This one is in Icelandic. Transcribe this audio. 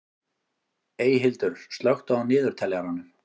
Eyhildur, slökktu á niðurteljaranum.